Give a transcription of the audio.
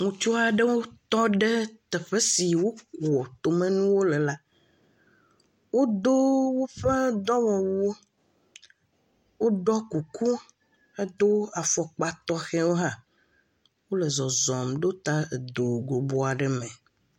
Ŋutsu aɖewo tɔ ɖe teƒe si wokua tomenuwo le la, woɖɔ woƒe dɔwɔwuwo, woɖɔ kuku hedo afɔkpa tɔxɛwo hã, wole zɔzɔm ɖo ta edo aɖe me.